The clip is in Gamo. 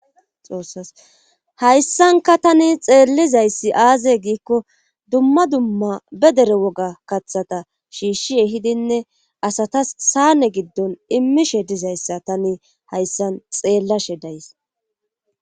xoossas hayssanka tani xeellizayssi aaze giikko dumma dumma be dere woga kathata shiishshi ehidinne asatas saane giddon immishe dizayssa tani hayssan xeellashe days